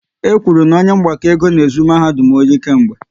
E kwuru na onye mgbakọ ego n'ezu mahadum ọri kemgbe